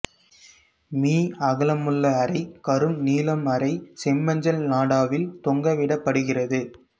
me அகலமுள்ள அரை கரும்நீலம் அரை செம்மஞ்சள் நாடாவில் தொங்கவிடப்படுகிறது